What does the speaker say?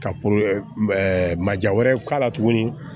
Ka maja wɛrɛ k'a la tuguni